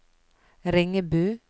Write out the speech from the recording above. Ringebu